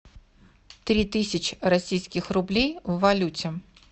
три тысячи российских рублей в валюте